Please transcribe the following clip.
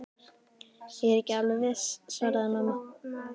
Ég er ekki alveg viss svaraði mamma.